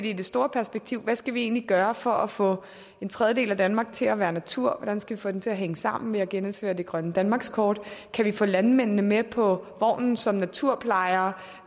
i det store perspektiv hvad skal vi egentlig gøre for at få en tredjedel af danmark til at være natur hvordan skal vi få den til at hænge sammen ved at genindføre det grønne danmarkskort kan vi få landmændene med på vognen som naturplejere